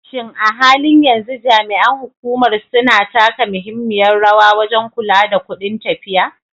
Shin a halin yanzu jami'an hukumar suna taka muhimmiyar rawa wajen kula da kudin tafiya?